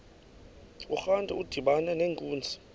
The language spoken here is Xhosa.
urantu udibana nenkunzi